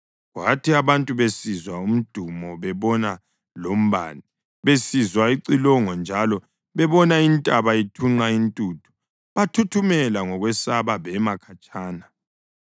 Kwathi abantu besizwa umdumo bebona lombane, besizwa icilongo njalo bebona intaba ithunqa intuthu, bathuthumela ngokwesaba. Bema khatshana,